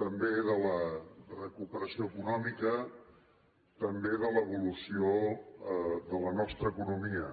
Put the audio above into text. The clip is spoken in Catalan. també de la recuperació econòmica també de l’evolució de la nostra economia